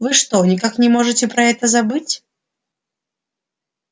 вы что никак не можете про это забыть